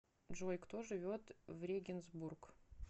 джой кто живет в регенсбург